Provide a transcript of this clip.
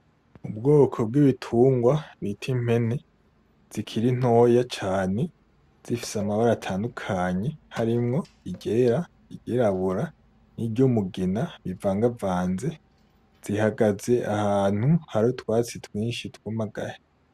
Ubwoko bw'ibitungwa bita impene zikiri ntoya cane zifise amabara atandukanye harimwo iryera iryirabura n'iryumugina bivagavanze , zihagaze ahantu hari utwatsi twinshi twumagaye.